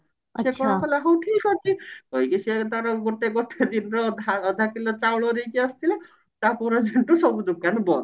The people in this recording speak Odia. କହିଲା ହଉ ଠିକ ଅଛି କହିକି ସେ ତାର ଗୋଟେ ଗୋଟେ ଦିନ ଅଧା ଅଧ କିଲୋ ଚାଉଳ ନେଇକି ଆସିଥିଲା ତାପର ଦିନଠୁ ସବୁ ଦୋକାନ ବନ୍ଦ